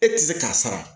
E tɛ se k'a sara